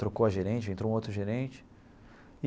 Trocou a gerente, entrou um outro gerente.